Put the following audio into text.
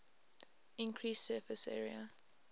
increased surface area